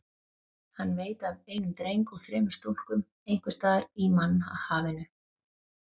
Hann veit af einum dreng og þremur stúlkum einhvers staðar í mannhafinu.